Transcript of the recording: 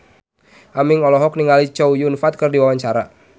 Aming olohok ningali Chow Yun Fat keur diwawancara